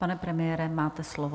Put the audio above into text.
Pane premiére, máte slovo.